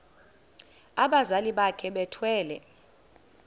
abazali bakhe bethwele